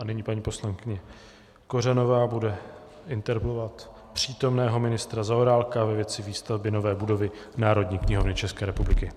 A nyní paní poslankyně Kořanová bude interpelovat přítomného ministra Zaorálka ve věci výstavby nové budovy Národní knihovny České republiky.